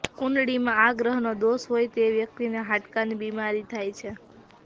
કુંડળીમાં આ ગ્રહનો દોષ હોય તો વ્યક્તિને હાડકાની બીમારી થાય છે